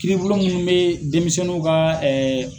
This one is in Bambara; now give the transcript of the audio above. Kiiribulon mun bɛ denmisɛnniw ka